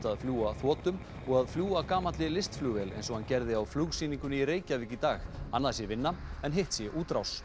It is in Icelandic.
að fljúga þotum og að fljúga gamalli eins og hann gerði á flugsýningunni í Reykjavík í dag annað sé vinna en hitt sé útrás